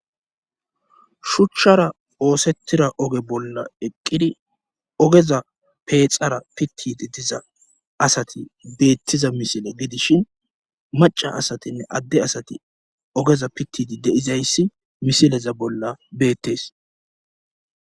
Shuchara oosettida oge bolla eqqidi ogeza peexara pittiidi diza asati bbettiza misile gidishin macca asatinne adde asati ogeza pittidi de7izayssi misileza bolla beettees.